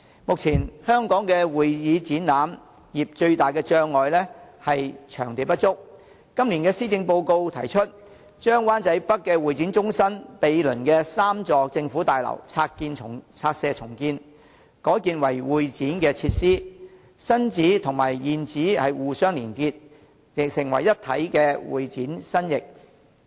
目前，香港發展會展業最大的障礙是場地不足，今年施政報告提出，將灣仔北會展中心毗鄰的3座政府大樓拆卸重建，改建為會展設施，新址與現址互相連結，成為一體的會展新翼。